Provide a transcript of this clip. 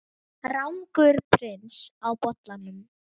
Rangur prins á bollanum